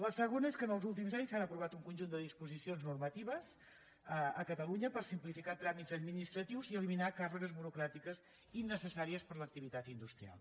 la segona és que els últims anys s’han aprovat un conjunt de disposicions normatives a catalunya per simplificar tràmits administratius i eliminar càrregues burocràtiques innecessàries per a l’activitat industrial